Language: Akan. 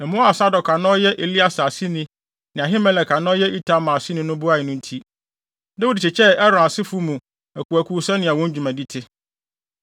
Mmoa a Sadok a na ɔyɛ Eleasar aseni ne Ahimelek a na ɔyɛ Itamar aseni no boae no nti, Dawid kyekyɛɛ Aaron asefo mu akuwakuw sɛnea wɔn dwumadi te.